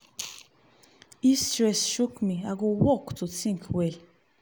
if stress choke me i go walk to think well.